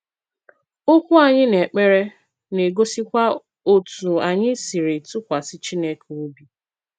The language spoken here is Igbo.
Okwú anyị n’èkpere na-egosikwa otú anyị siri tụkwasị Chineke óbị.